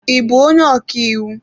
Ị bụ onye ọka iwu?